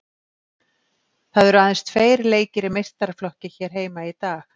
Það eru aðeins tveir leikir í meistaraflokki hér heima í dag.